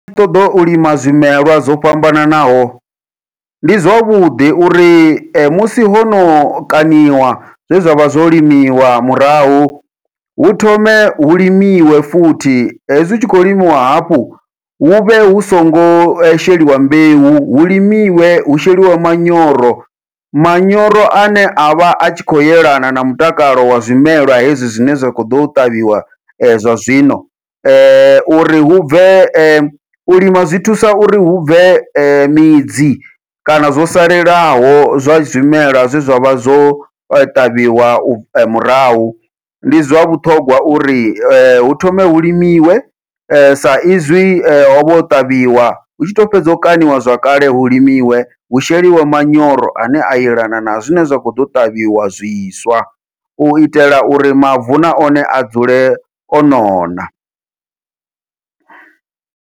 Ndi tshi ṱoḓa u lima zwimelwa zwo fhambananaho, ndi zwavhuḓi uri musi hono kaṋiwa zwe zwavha zwo limiwa murahu hu thome hu limiwe futhi hezwi hu tshi khou limiwa hafhu huvhe hu songo sheliwa mbeu hu limiwe hu sheliwe manyoro, manyoro ane a vha a tshi khou yelana na mutakalo wa zwimelwa hezwi zwine zwa kho ḓo ṱavhiwa zwa zwino. Uri hubve u lima zwi thusa uri hubve midzi kana zwo salelaho zwa zwimela zwe zwavha zwo ṱavhiwa murahu, ndi zwa vhuṱhongwa uri hu thome hu limiwe sa izwi hovha ho ṱavhiwa, hutshi to fhedza u kaṋiwa zwakale hu limiwe hu sheliwe manyoro ane a elana na zwine zwa kho ḓo ṱavhiwa zwiswa u itela uri mavu na one a dzule o nona.